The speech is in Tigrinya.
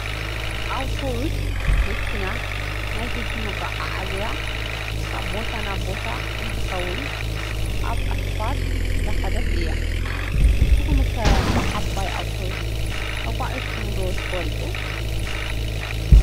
ኣውቶቡስ መኪና ናይ ህዝቢ መጓዓዓዝያ ካብ ቦታ ናብ ቦታ እንትከውን ኣብ እስፓልት እንዳከደት እያ። ንስኩም ከ ብዓባይ ኣውቶቡስ ተጓዒዝኩም ዶ ትፈልጡ ?